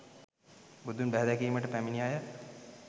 බුදුන් බැහැ දැකීමට පැමිණි අය